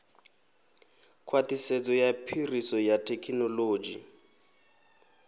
khwaṱhisedzo ya phiriso ya thekhinoḽodzhi